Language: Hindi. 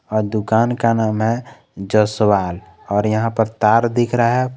अ दुकान का नाम है जसवाल और यहां पर तार दिख रहा है।